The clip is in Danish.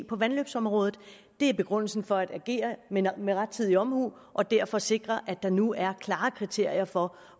på vandløbsområdet det er begrundelsen for at agere med rettidig omhu og derfor sikre at der nu er klare kriterier for